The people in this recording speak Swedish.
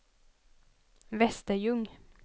Västerljung